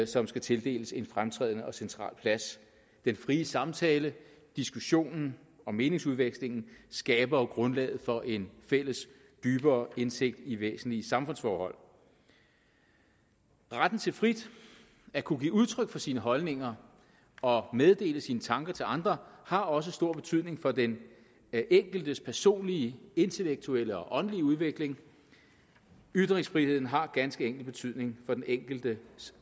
som skal tildeles en fremtrædende og central plads den frie samtale diskussionen og meningsudvekslingen skaber jo grundlaget for en fælles dybere indsigt i væsentlige samfundsforhold retten til frit at kunne give udtryk for sine holdninger og meddele sine tanker til andre har også stor betydning for den enkeltes personlige intellektuelle og åndelige udvikling ytringsfriheden har ganske enkelt betydning for den enkeltes